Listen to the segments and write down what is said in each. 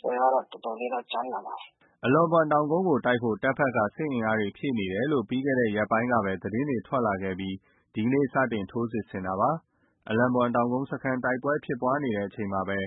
ပွဲကတော့ တော်တော်လေးတော့ ကြမ်းလာမှာ။” အလော့ဘွမ်တောင်းကုန်းကို တိုက်ဖို့တပ်ဘက်က စစ်အင်အားတွေ ဖြည့်နေတယ်လို့ ပြီးခဲ့တဲ့ရက်ပိုင်းကပဲ သတင်းတွေ ထွက်လာခဲ့ပြီး ဒီနေ့တော့ စတင် ထိုးစစ်ဆင်တာဖြစ်ပါတယ်။ အလော့ဘွမ်စခန်းကုန်းမှာ တိုက်ပွဲတွေဖြစ်နေချိန်မှာပဲ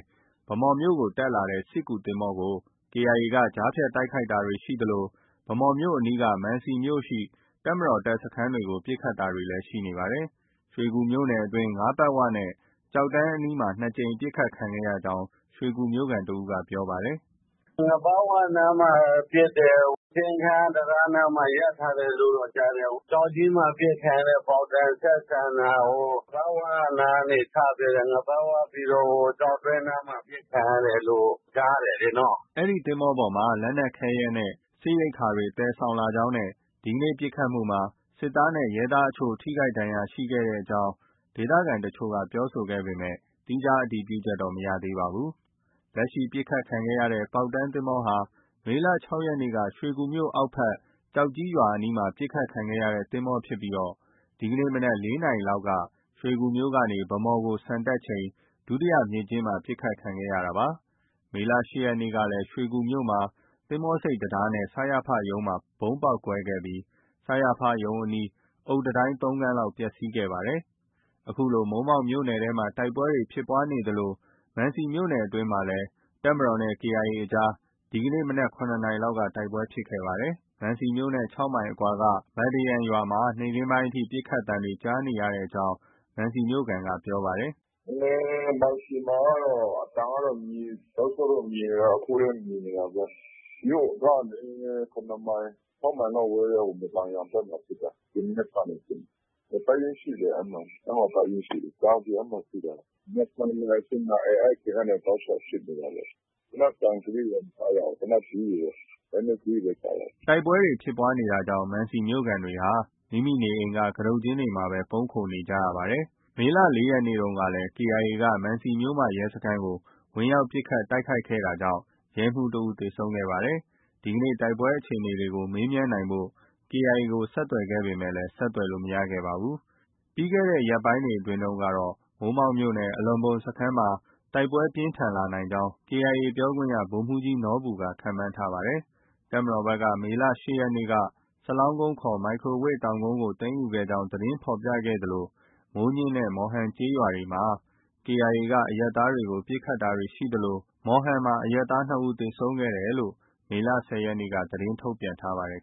ဗန်းမော်မြို့ကို တက်လာတဲ့ စစ်ကူသင်္ဘောကို KIA က ကြားဖြတ်တိုက်ခိုက်တာ ရှိသလို ဗန်းမော်မြို့အနီးက မံစီမြို့ရှိ တပ်မတော် တပ်စခန်းတွေကို ပစ်ခတ်တာတွေလည်း ရှိနေပါတယ်။ ရွှေကူမြို့နယ်အတွင်း ငါးပတ်ဝနဲ့ ကျောက်တန်းအနီးမှာ ၂ ကြိမ်ပစ်ခတ်ခံရကြောင်း ရွှေကူမြို့ခံတစ်ဦးက ပြောပါတယ်။ “ငါးပတ်ဝနားမှာ ပစ်တယ်။ စင်းခန်းတံတားနားမှာ ရပ်ထားတယ်လို့တော့ ကြားတယ်။ ကျောက်ကြီးမှာ ပစ်ခံရတဲ့ မော်တော် ဆက်ဆန်တာ ငါးပတ်ဝကနေစပြီးတော့မှ ငါးပတ်ဝပြီးတော့ ဟို ကျောက်တွင်းနားမှာ ပစ်ခံရတယ်လို့ ကြားတယ်လေနော်။” ဒီသင်္ဘောပေါ်မှာ လက်နက်ခဲယမ်းနဲ့ စစ်ရိက္ခာတွေ သယ်ဆောင်လာကြောင်းနဲ့ ဒီနေ့ ပစ်ခတ်မှုမှာ စစ်သားနဲ့ ရဲသားအချို့ အထိအခိုက်ရှိကြောင်း ဒေသခံအချို့က ပြောဆိုပေမဲ့ သီးခြား အတည်ပြုချက်တော့ မရပါဘူး။ လက်ရှိ ပစ်ခတ်ခံရတဲ့ ပေါက်တန်းသင်္ဘောဟာ မေလ ၆ ရက်နေ့က ရွှေကူမြို့အောက်ဘက် ကျောက်ကြီးရွာအနီးမှာ ပစ်ခတ်ခံခဲ့ရတဲ့ သင်္ဘောဖြစ်ပြီး ဒီနေ့ မနက် ၄ နာရီလောက်က ရွှေကူမြို့ကနေ ဗန်းမော်ကို ဆန်တက်ချိန် ဒုတိယမြစ်ကျဉ်းမှာ ပစ်ခတ်ခံရတာပါ။ မေလ ၈ရက်နေ့ကလည်း ရွှေကူမြို့မှာ သင်္ဘောဆိပ်တံတားနဲ့ စရဖရုံးမှာ ဗုံးပေါက်ကွဲခဲ့ပြီး စရဖရုံး အုတ်တံတိုင်း ၃ ခန်းလောက် ပျက်ဆီးခဲ့ပါတယ်။ အခုလို မိုးမောက်မြို့နယ်ထဲမှာ တိုက်ပွဲတွေဖြစ်နေသလို မံစီမြို့နယ်အတွင်းမှာ တပ်မတော်နဲ့ KIA အကြား ဒီကနေ့ မနက် ၇ နာရီလောက်ကလည်း တိုက်ပွဲဖြစ်ခဲ့ပါတယ်။မံစီမြို့နဲ့ ၆ မိုင်လောက်အကွာက မဒန်ယန်ရွာမှာ နေ့ခင်းပိုင်းအထိ ပစ်ခတ်သံတွေကြားနေကြောင်း မံစီမြို့ခံက ပြောပါတယ်။ “မံစီမှာတော့ အသံကတော့ မြည်၊ တောက်လျှောက်တော့ မြည်နေတာ၊ အခုလည်း မြည်နေတာပဲ။ မြို့ကနေ ၇ မိုင်၊ ၆ မိုင်လောက် ဝေးတဲ့ မဒန်ယန်ဘက်မှာ ဖြစ်တာ။ ဒီမနက်ကနေ ဖြစ်နေတာ။ တပ်ရင်းရှိတယ်။ အဲဒီမှာ ဒါကြောင် အဲဒီမှာဖြစ်တာ။ မနက် ၇ နာရီ၊ ၈ နာရီ အဲဒီအချိန်ကနေ တောက်လျှောက်ဖြစ်နေတာ။ သေနတ်သံ အသေးတွေတော့ မကြားရဘူး။ သေနတ်အကြီးတွေပဲ လက်နက်ကြီးတွေပဲ ကြားရတယ်။ ” တိုက်ပွဲဖြစ်ပွားတာကြောင့် မံစီမြို့ခံတွေဟာ မိမိနေအိမ်က ကတုတ်ကျင်းတွေမှာပဲ ပုန်းခိုနေကြရတယ်လို့ပြောပါတယ်။ မေလ ၄ ရက်နေ့တုန်းကလည်း KIA က မံစီမြို့မ ရဲစခန်းကို ဝင်ရောက်ပစ်ခတ်တိုက်ခိုက်ခဲ့တာကြောင့် ရဲမှူးတစ်ဦး သေဆုံးခဲ့ပါတယ်။ ဒီနေ့ တိုက်ပွဲအခြေအနေတွေ မေးမြန်းနိုင်ဖို့ KIA ကို ဆက်သွယ်ခဲ့ပေမဲ့ ဆက်သွယ်လို့ မရခဲ့ပါဘူး။ ပြီးခဲ့တဲ့ ရက်ကတော့ ဒီတစ်ပတ်အတွင်းမှာတော့ မိုးမောက်မြို့နယ် အလော့ဘွမ်စခန်းမှာ တိုက်ပွဲပြင်းထန်လာနိုင်ကြောင်း KIA ပြောခွင့်ရသူ ဗိုလ်မှူးကြီးနော်ဘူက ခန့်မှန်းထားပါတယ်။ တပ်မတော်ဘက်ကတော့ မေလ ၈ ရက်နေ့က စလောင်းကုန်းခေါ် မိုက်ခရိုဝေ့တောင်ကုန်းကို သိမ်းယူခဲ့ကြောင်း သတင်းဖော်ပြခဲ့သလို မိုးညှင်းမြို့နဲ့ မော်ဟန်ကျေးရွာတွေမှာ KIA က အရပ်သားတွေကို ပစ်ခတ်တာရှိသလို မော်ဟန်မှာ အရပ်သား ၂ ဦး သေဆုံးခဲ့တယ်လို့ မေလ ၁၀ ရက်နေ့က သတင်းထုတ်ပြန်ထားပါတယ်